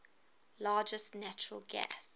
largest natural gas